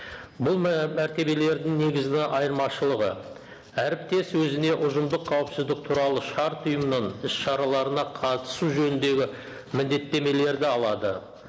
бұл мәртебелердің негізгі айырмашылығы әріптес өзіне ұжымдық қауіпсіздік туралы шарт ұйымның іс шараларына қатысу жөніндегі міндеттемелерді алады